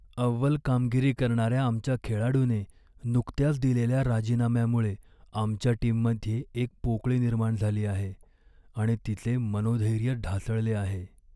अव्वल कामगिरी करणाऱ्या आमच्या खेळाडूने नुकत्याच दिलेल्या राजीनाम्यामुळे आमच्या टीममध्ये एक पोकळी निर्माण झाली आहे आणि तिचे मनोधैर्य ढासळले आहे.